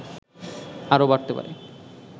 আরও বাড়তে পারে